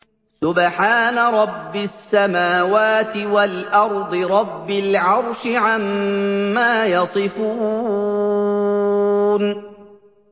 سُبْحَانَ رَبِّ السَّمَاوَاتِ وَالْأَرْضِ رَبِّ الْعَرْشِ عَمَّا يَصِفُونَ